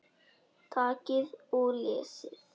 Takið og lesið.